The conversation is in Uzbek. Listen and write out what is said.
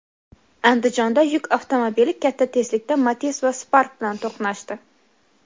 Andijonda yuk avtomobili katta tezlikda Matiz va Spark bilan to‘qnashdi.